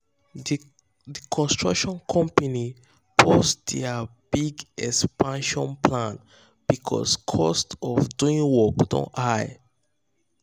the construction company pause their big expansion plan because cost of doing work don high.